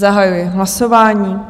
Zahajuji hlasování.